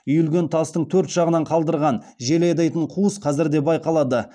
үйілген тастың төрт жағынан қалдырылған жел айдайтын қуыс қазір де байқалады